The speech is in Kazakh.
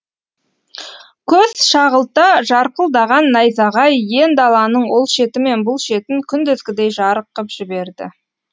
көз шағылта жарқылдаған найзағай ен даланың ол шеті мен бұл шетін күндізгідей жарық қып жіберді